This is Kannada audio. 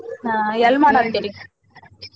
ಹಾ ಎಲ್ ಮಾಡಾತ್ತಿರಿ?